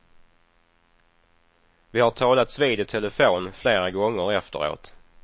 Vi har talats vid i telefon flera gånger efteråt.